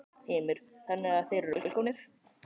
Heimir: Þannig að þeir eru velkomnir?